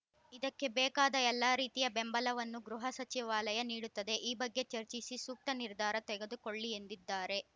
ಇದಕ್ಕೆ ಬೇಕಾದ ಎಲ್ಲಾ ರೀತಿಯ ಬೆಂಬಲವನ್ನು ಗೃಹ ಸಚಿವಾಲಯ ನೀಡುತ್ತದೆ ಈ ಬಗ್ಗೆ ಚರ್ಚಿಸಿ ಸೂಕ್ತ ನಿರ್ಧಾರ ತೆಗೆದುಕೊಳ್ಳಿ ಎಂದಿದ್ದಾರೆ